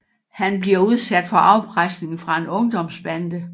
Han bliver udsat for afpresning fra en ungdomsbande